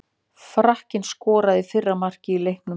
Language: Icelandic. Frakkinn skoraði fyrra markið í leiknum.